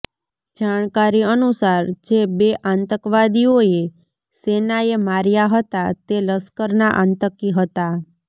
જાણકારી અનુસાર જે બે આતંકવાદીઓએ સેનાએ માર્યા હતા તે લશ્કરના આતંકી હતા